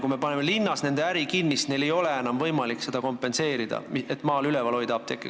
Kui me paneme linnas nende äri kinni, siis neil ei ole enam võimalik seda kompenseerida ja maa-apteeke üleval hoida.